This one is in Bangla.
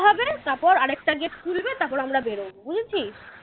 তারপর আরেকটা gate খুলবে তারপর আমরা বের হব বুঝেছিস?